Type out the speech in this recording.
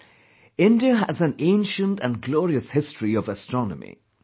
Friends, India has an ancient and glorious history of astronomy